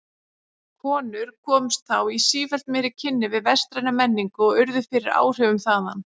Konur komust þá í sífellt meiri kynni við vestræna menningu og urðu fyrir áhrifum þaðan.